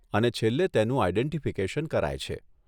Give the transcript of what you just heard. અને છેલ્લે તેનું આઈડેન્ટીફીકેશન કરાય છે.